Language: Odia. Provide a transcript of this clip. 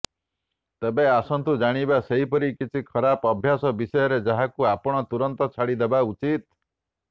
ତେବେ ଆସନ୍ତୁ ଜାଣିବା ସେପରି କିଛି ଖରାପ ଅଭ୍ୟାସ ବିଷୟରେ ଯାହାକୁ ଆପଣ ତୁରନ୍ତ ଛାଡ଼ିଦେବା ଉଚିତ